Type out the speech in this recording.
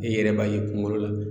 E yɛrɛ b'a ye kungolo la